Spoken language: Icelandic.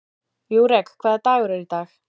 Júrek, hvaða dagur er í dag?